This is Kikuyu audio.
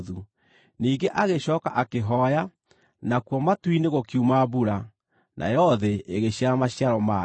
Ningĩ agĩcooka akĩhooya, nakuo matu-inĩ gũkiuma mbura, nayo thĩ ĩgĩciara maciaro mayo.